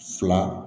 Fila